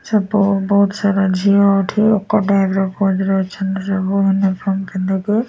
ସବୁ ବୋହୁତ୍ ସାରା ଝିଅ ଏଠି ଏକାଠି ଅଛନ୍ତି ସବୁ ମାନେ ପିନ୍ଧିକି।